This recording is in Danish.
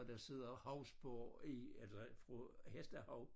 Og der sidder hovspor i eller fra hestehov